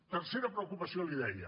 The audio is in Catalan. tercera preocupació li deia